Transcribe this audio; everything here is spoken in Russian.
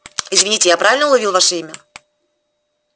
извините я правильно уловил ваше имя